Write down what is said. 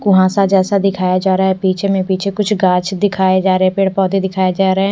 कुहासा जैसा दिखाई जा रहा है पीछे में पीछे कुछ ग़ाछ दिखाए जा रहे पेड़ पौधे दिखाए जा रहे--